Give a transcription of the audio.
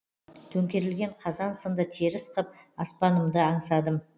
төңкерілген қазан сынды теріс қып аспанымды аңсадым